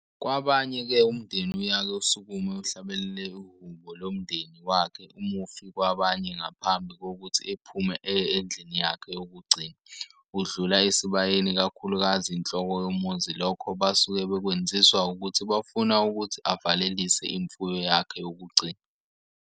Kwabanye-ke umndenni uyake usukume uhlabelele ihubo lomndeni wakhe umufi kwabanye ngaphambi kokuthi ephume eye endlini yakhe yokugcina udlula esibayeni kakhulukazi inhloko yomuzi lokho basuke bekwenziswa ukuthi bafuna ukuthi avalelise imfuyo yakhe yokugcina.